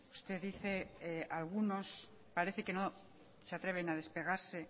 usted dice algunos parece que no se atreven a despegarse